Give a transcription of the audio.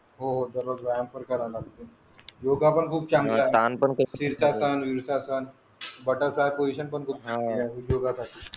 हो हो दररोज व्यायाम पण करावा लागतो योग पण खूप चांगला शिरसासन विरशासन बटरफ्लाय पोज़िशन पण करू शकते